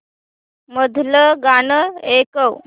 मधलं गाणं ऐकव